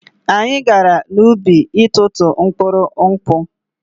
Anyị gara n'ubi itụtụ mkpụrụ nkwụ.